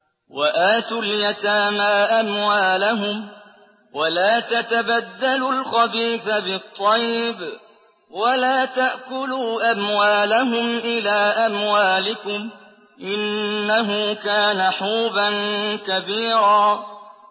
وَآتُوا الْيَتَامَىٰ أَمْوَالَهُمْ ۖ وَلَا تَتَبَدَّلُوا الْخَبِيثَ بِالطَّيِّبِ ۖ وَلَا تَأْكُلُوا أَمْوَالَهُمْ إِلَىٰ أَمْوَالِكُمْ ۚ إِنَّهُ كَانَ حُوبًا كَبِيرًا